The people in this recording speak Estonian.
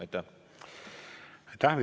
Aitäh!